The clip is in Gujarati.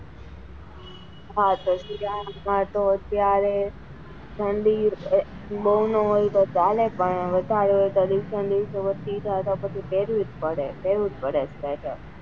હા તો શિયાળા માં તો અત્યારે ઠંડી બઉ નાં હોય તો ચાલે પણ વધારે હોય તો ઠંડી પેરવું જ પડે પેરવું જ પડે sweater.